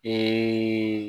Ee